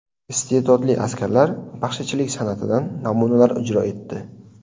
Iste’dodli askarlar baxshichilik san’atidan namunalar ijro etdi.